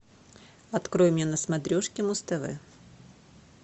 открой мне на смотрешке муз тв